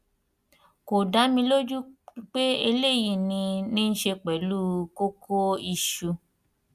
kò dá mi lójú pé eléyìí ní í ní í ṣe pẹlú kókó iṣù